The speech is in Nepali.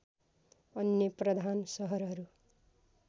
अन्य प्रधान सहरहरू